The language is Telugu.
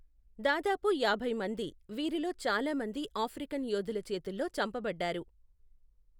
దాదాపు యాభై మంది, వీరిలో చాలా మంది ఆఫ్రికన్ యోధుల చేతుల్లో చంపబడ్డారు.